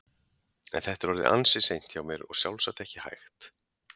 En þetta er orðið ansi seint hjá mér og sjálfsagt ekki hægt.